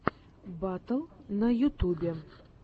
батл на ютубе